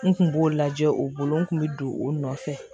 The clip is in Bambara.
N kun b'o lajɛ o bolo n kun bɛ don o nɔfɛ